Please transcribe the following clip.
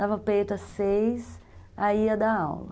Dava peito às seis, aí ia dar aula.